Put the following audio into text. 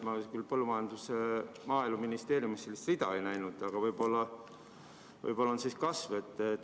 Ma küll Maaeluministeeriumi all sellist rida ei näinud, aga võib-olla kasvavad siis muud tulud.